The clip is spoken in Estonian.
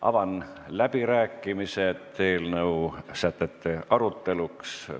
Avan läbirääkimised eelnõu sätete aruteluks.